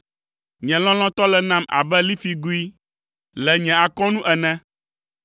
Nye lɔlɔ̃tɔ le nam abe lifigoe le nye akɔnu ene.